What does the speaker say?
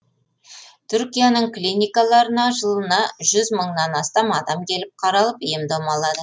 түркияның клиникаларына жылына жүз мыңнан астам адам келіп қаралып ем дом алады